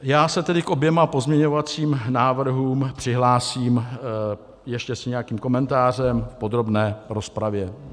Já se tedy k oběma pozměňovacím návrhům přihlásím ještě s nějakým komentářem v podrobné rozpravě.